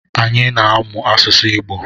Anyị na-amụ asụsụ Igbo